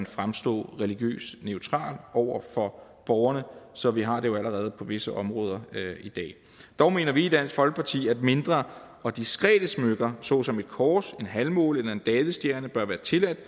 fremstå religiøst neutrale over for borgerne så vi har det jo allerede på visse områder i dag dog mener vi i dansk folkeparti at mindre og diskrete smykker såsom et kors en halvmåne eller en davidsstjerne bør være tilladt